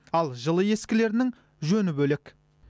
ал жылы ескілерінің жөні бөлек